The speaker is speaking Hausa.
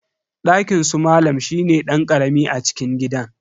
Dakinsu malam shine dan karami a cikin gidan.